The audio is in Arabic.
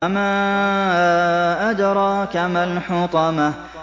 وَمَا أَدْرَاكَ مَا الْحُطَمَةُ